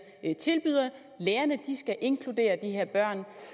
tilbyder lærerne skal inkludere de her børn